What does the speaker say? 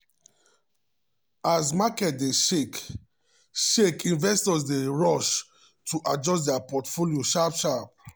as market dey shake shake investors dey rush to adjust dia portfolios sharp-sharp.